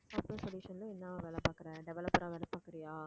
software solution ல என்ன வேலை பாக்கறே developer ஆ வேலை பாக்கறியா